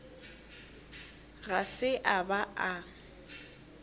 ga se a ba a